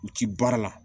U ti baara la